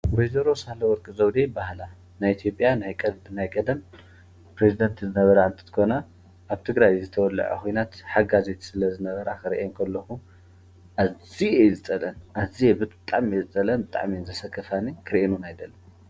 ወ/ሮ ሳህለ ወርቅ ዘውዴ ይበሃላ ።ናይ ኢትዮጵያያ ናይ ቀደም ፕሬዚደት ዝነበራ እንትኾና ኣብ ትግራይ ዝተወለዐ ኩናት ሓጋዚት ስለዝነበራ ክሪኤን ከለኹ ኣዝየ ዝፀላኣን ብጣዕሚ እየ ዝፀልአንኣክፊአእየ ዝፀልአን ! ፣ጣዕሚ እዩ ዝስከፈኒ ክሪኤን ከለኹ ክሪኤን ድማ ኣይደልን።